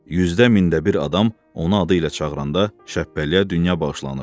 Yüzdə mində bir adam onu adı ilə çağıranda Şəbpəliyə dünya bağışlanırdı.